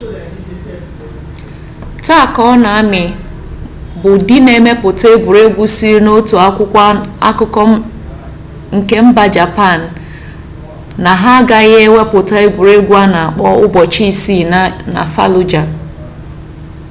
taa konami bụ dị na-emepụta egwuregwu sịrị n'otu akwụkwọ akụkọ nke mba japan na ha agaghị ewepụta egwuruegwu a na akpọ ụbọchị isii na faluja